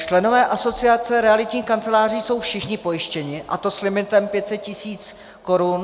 Členové Asociace realitních kanceláří jsou všichni pojištěni, a to s limitem 500 000 korun.